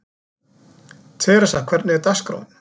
Theresa, hvernig er dagskráin?